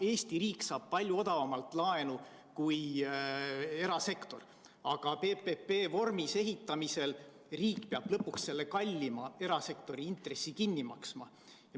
Eesti riik saab palju odavamalt laenu kui erasektor, aga PPP vormis ehitamisel peab riik lõpuks selle kallima erasektori intressi kinni maksma.